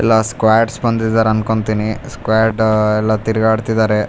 ಎಲ್ಲ ಸ್ಕ್ವಾಡ್ಸ್ ಬಂದಿದ್ದಾರ್ ಅನ್ಕೊಂತೀನಿ ಸ್ವಾಡಾ ಎಲ್ಲ ತಿರ್ಗಾಡ್ತಿದಾರೆ.